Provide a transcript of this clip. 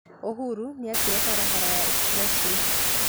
Uhuru niĩakire barabara ya expressway